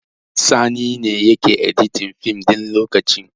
Sani ne yake editin fim ɗin lokaci